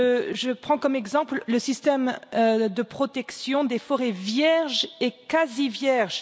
Je prends comme exemple le système de protection des forêts vierges et quasi vierges.